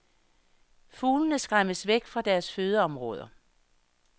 Fuglene skræmmes væk fra deres fødeområder.